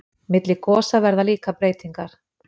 Milli gosa verða líka breytingar.